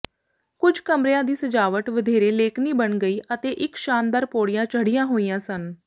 ਕੁੱਝ ਕਮਰਿਆਂ ਦੀ ਸਜਾਵਟ ਵਧੇਰੇ ਲੇਕਨੀ ਬਣ ਗਈ ਅਤੇ ਇੱਕ ਸ਼ਾਨਦਾਰ ਪੌੜੀਆਂ ਚੜ੍ਹੀਆਂ ਹੋਈਆਂ ਸਨ